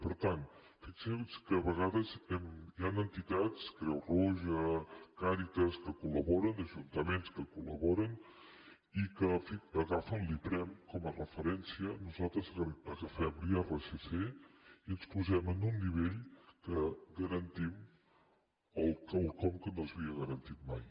per tant fixin se que a vegades hi han entitats creu roja càritas que col·laboren ajuntaments que coll’iprem com a referència nosaltres agafem l’irsc i ens posem en un nivell amb què garantim quelcom que no s’havia garantit mai